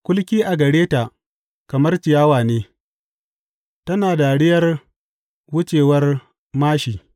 Kulki a gare ta kamar ciyawa ne, tana dariyar wucewar māshi.